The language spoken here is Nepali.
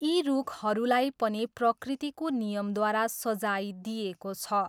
यी रुखहरूलाई पनि प्रकृतिको नियमद्वारा सजाय दिइएको छ।